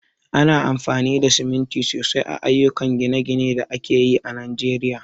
Ana amfani da siminti sosai a ayyukan gine-ginen da ake yi a Najeriya.